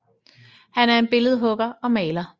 Han er en billedhugger og maler